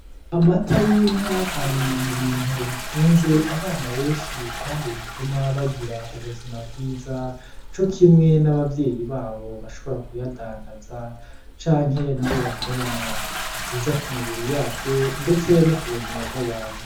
Amata y'inka ari mu bintu bitunze abana benshi kandi bituma bagira ubuzima bwiza cokimwe n'abavyeyi babo bashobora kuyadandaza canke nabo bakayanwa. Ni vyiza ku mubiri yacu ndetse ku buzima bw'abantu.